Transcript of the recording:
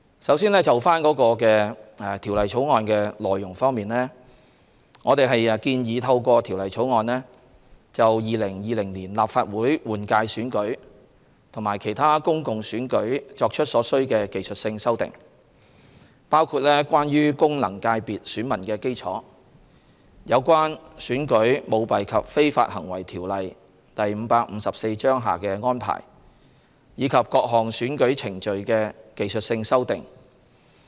首先，就《條例草案》的內容方面，我們建議透過《條例草案》就2020年立法會換屆選舉及其他公共選舉作出所需的技術性修訂，包括關於功能界別選民基礎、有關《選舉條例》下的安排，以及各項選舉程序的技術性修訂。